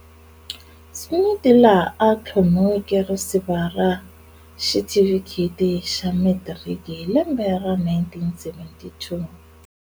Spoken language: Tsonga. Smit laha a thlomiweke risiva ra xitifiketi xa Matriki hi lembe ra 1972.